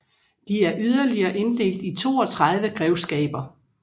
De er yderligere inddelt i 32 grevskaber